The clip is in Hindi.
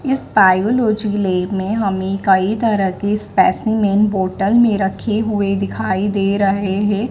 इस बायोलॉजी लैब में हमें कई तरह के स्पेसिमेन बॉटल में रखे हुए दिखाई दे रहे है।